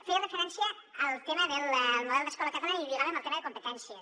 feia referència al tema del model d’escola catalana i ho lligava amb el tema de competències